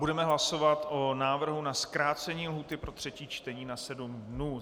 Budeme hlasovat o návrhu na zkrácení lhůty pro třetí čtení na sedm dnů.